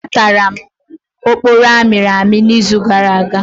Atara m oporo amịrị amị izu gara aga.